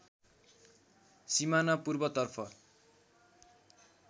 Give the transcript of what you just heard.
सिमाना पूर्वतर्फ